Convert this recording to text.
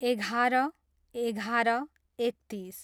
एघार, एघार, एकतिस